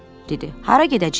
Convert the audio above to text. Hara gedəcəyik?